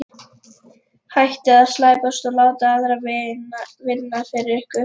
Hættið að slæpast og láta aðra vinna fyrir ykkur.